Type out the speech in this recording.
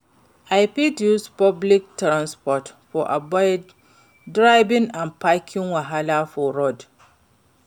I fit use public transport to avoid driving and parking wahala for road.